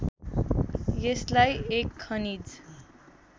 यसलाई एक खनिज